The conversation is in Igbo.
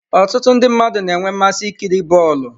Ọtụtụ ndị mmadụ na-enwe mmasị ikiri bọọlụ.